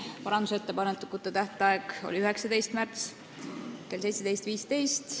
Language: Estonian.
Parandusettepanekute tähtaeg oli 19. märts kell 17.15.